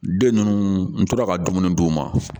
Den ninnu n tora ka dumuni d'u ma